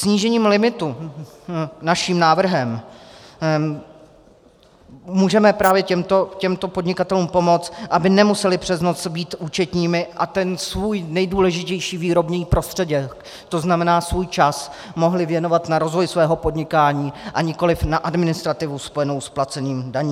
Snížením limitu naším návrhem můžeme právě těmto podnikatelům pomoct, aby nemuseli přes noc být účetními a ten svůj nejdůležitější výrobní prostředek, to znamená svůj čas, mohli věnovat na rozvoj svého podnikání a nikoliv na administrativu spojenou s placením daní.